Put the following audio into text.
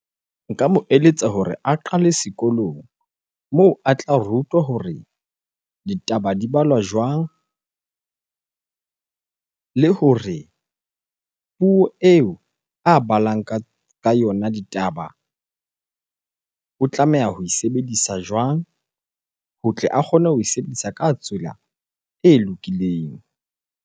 Nka mo eletsa hore a qale sekolong moo a tla rutwa hore ditaba di balwa jwang? Le hore ho eo a balang ka yona ditaba, o tlameha ho e sebedisa jwang? Ho tle a kgone ho e sebedisa ka tsela e lokileng.